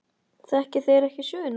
Þekki þeir ekki söguna.